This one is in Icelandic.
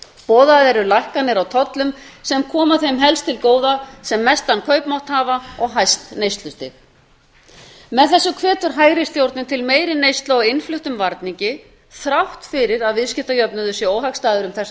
boðaðar eru lækkanir á tollum sem koma þeim helst til góða sem mestan kaupmátt hafa og hæst neyslustig með þessu hvetur hægri stjórnin til meiri neyslu á innfluttum varningi þrátt fyrir að viðskiptajöfnuður sé óhagstæður um þessar